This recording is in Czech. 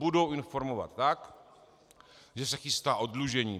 Budou informovat tak, že se chystá oddlužení.